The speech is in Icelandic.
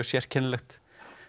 sérkennilegt